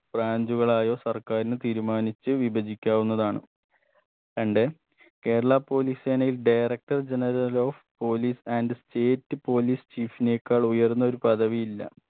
branch കളായോ സർക്കാരിന് തീരുമാനിച്ച് വിഭജിക്കാവുന്നതാണ് രണ്ട് കേരള police സേനയിൽ director general of police and state police chief നേക്കാൾ ഉയർന്ന ഒരു പദവിയില്ല